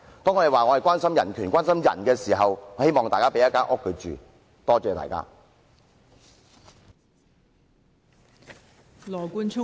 當我們說關心人權，關心人時，我希望大家可以提供住所讓有需要人士居住。